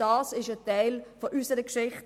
Das ist ein Teil unserer Geschichte.